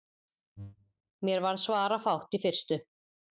Mér varð svarafátt í fyrstu.